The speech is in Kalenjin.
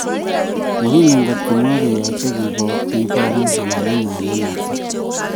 Mokingen ngot makoyaach keboru ng'alaleng'wa eng whatsup